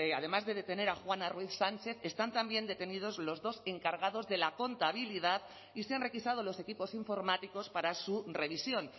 además de detener a juana ruiz sánchez están también detenidos los dos encargados de la contabilidad y se han requisado los equipos informáticos para su revisión